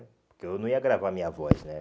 Porque eu não ia gravar minha voz, né?